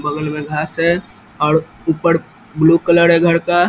बगल में घांस है और ऊपर ब्लू कलर है घड़ का।